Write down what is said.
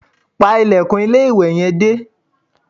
Pa ilẹ̀kùn ilé-ìwẹ̀ yẹn dé